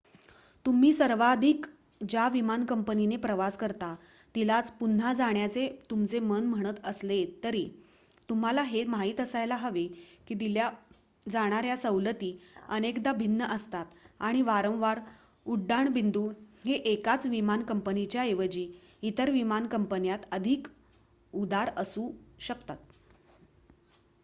तुम्ही सर्वाधिक ज्या विमान कंपनीने प्रवास करता तिलाच पुन्हा जाण्याचे तुमचे मन म्हणत असले तरी तुम्हाला हे माहित असायला हवे की दिल्या जाणाऱ्या सवलती अनेकदा भिन्न असतात आणि वारंवार उड्डाण बिंदू हे एकाच विमान कंपनीच्या ऐवजी इतर विमानकंपन्यात अधिक उदार असू शकतात